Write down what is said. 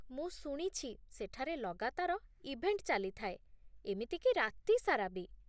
ମୁଁ ଶୁଣିଛି ସେଠାରେ ଲଗାତାର ଇଭେଣ୍ଟ ଚାଲିଥାଏ, ଏମିତି କି ରାତି ସାରା ବି ?